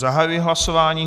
Zahajuji hlasování.